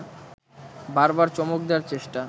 বারবার চমক দেওয়ার চেষ্টা